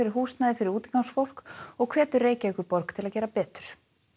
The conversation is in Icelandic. húsnæði fyrir útigangsfólk og hvetur Reykjavíkurborg til að gera betur